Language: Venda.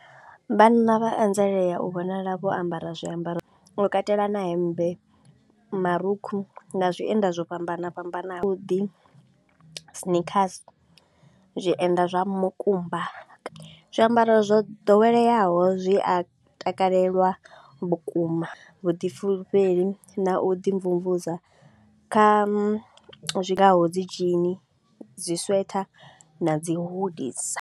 Vhanna vha anzelea u vhonala vho ambara zwiambaro u katela na hemmbe, marukhu na zwienda zwo fhambana fhambanaho. Havhuḓi sneakers, zwienda zwa mukumba, zwiambaro zwo ḓoweleaho zwi a takalelwa vhukuma vhuḓifhulufheli na u ḓi mvumvusa kha zwi ngaho dzi jean, dzi sweater na dzi hoodies.